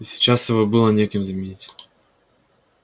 и сейчас его было некем заменить